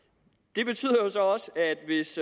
det betyder jo så også